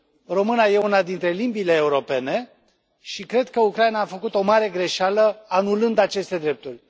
Româna e una dintre limbile europene și cred că Ucraina a făcut o mare greșeală anulând aceste drepturi.